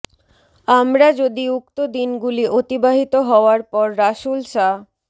আমরা যদি উক্ত দিনগুলি অতিবাহিত হওয়ার পর রাসূল সা